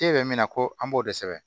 K'e bɛ min na ko an b'o de sɛbɛn